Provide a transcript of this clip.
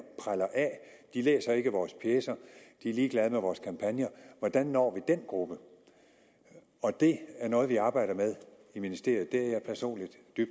preller af de læser ikke vores pjecer de er ligeglade med vores kampagner hvordan når vi den gruppe det er noget vi arbejder med i ministeriet og